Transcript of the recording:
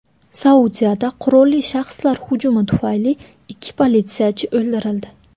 Saudiyada qurolli shaxslar hujumi tufayli ikki politsiyachi o‘ldirildi.